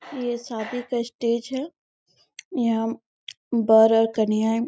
ये शादी का स्टेज है यहाँ वर और कन्याएँ--